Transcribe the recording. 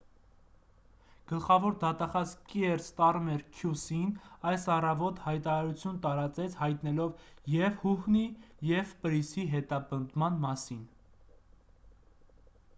գլխավոր դատախազ կիեր ստարմեր քյու-սի-ն այս առավոտ հայտարարություն տարածեց հայտնելով և հուհնի և պրիսի հետապնդման մասին